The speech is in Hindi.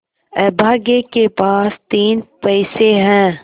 अभागे के पास तीन पैसे है